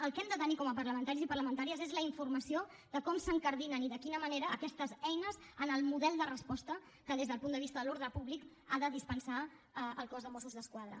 el que hem de tenir com a parlamentaris i parlamentàries és la informació de com s’incardinen i de quina manera aquestes eines en el model de resposta que des del punt de vista de l’ordre públic ha de dispensar el cos de mossos d’esquadra